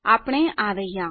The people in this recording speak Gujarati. ઓહ આપણે આ રહ્યા